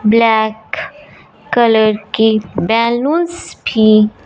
black colour की balloons भी--